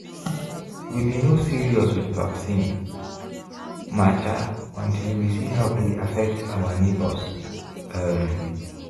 we be no serious with vaccine matter until we see how e affect our neighbors. um